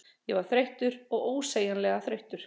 Ég var þreyttur, ósegjanlega þreyttur.